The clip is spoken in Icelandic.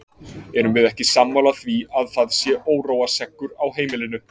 Erum við ekki sammála því að það sé óróaseggur á heimilinu!